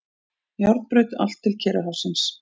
Járnbraut allt til Kyrrahafsins.